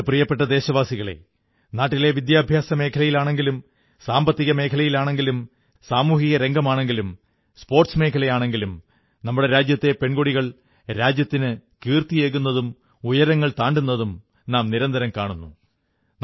എന്റെ പ്രിയപ്പെട്ട ദേശവാസികളേ നാട്ടിലെ വിദ്യാഭ്യാസമേഖലയാണെങ്കിലും സാമ്പത്തിക മേഖലയാണെങ്കിലും സാമൂഹികരംഗമാണെങ്കിലും സ്പോർട്സ് മേഖലയാണെങ്കിലും നമ്മുടെ രാജ്യത്തെ പെൺകുട്ടികൾ രാജ്യത്തിനു കീർത്തിയേകുന്നതും ഉയരങ്ങൾ താണ്ടുന്നതും നാം നിരന്തരം കാണുന്നു